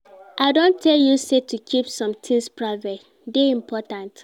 I don tell you sey to keep some tins private dey important.